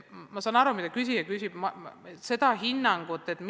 Ma saan aru, mida küsija küsib, aga seda hinnangut on raske anda.